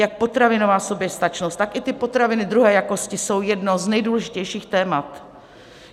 Jak potravinová soběstačnost, tak i ty potraviny druhé jakosti jsou jedno z nejdůležitějších témat.